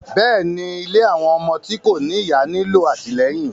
Bẹ́ẹ̀ni, ìlé awọn ọmọ ti ko ni iya nilo atilẹyin